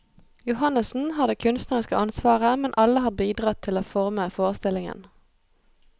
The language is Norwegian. Johannessen har det kunstneriske ansvaret, men alle har bidratt til å forme forestillingen.